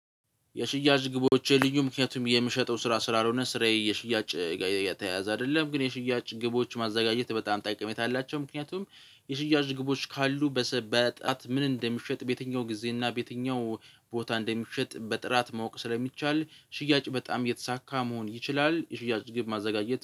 የሽያጭ ግቦቼ ልዩ ምክንያቱም የምሸጠው ስራ ስላልሆነ ስራዬ የሽያጭ ጋር የተያያዘ አይደለም። ግን የሽያጭ ግቦች ማዘጋጀት በጣም ጠቅሜታ አላቸው ምክንያቱም የሽያጭ ግቦች ካሉ በጣት ምን እንደሚሸጥ በየትኛው ጊዜ እና በየትኛው ቦታ እንደሚሸጥ በጥራት ማወቅ ስለሚቻል ሽያጭ በጣም የተሳካ መሆን ይችላል። የሽያጭ ግብ ማዘጋጀት